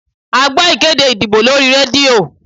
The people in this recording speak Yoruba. A gbọ́ ìkéde ìdìbò lórí rédíò